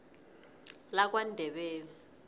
lakwandebele